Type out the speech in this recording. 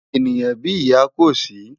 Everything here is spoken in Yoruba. Éniyán bi iyá kó si